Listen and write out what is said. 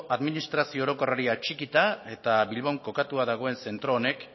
administrazio orokorrari atxikita eta bilbon kokatua dagoen zentro honek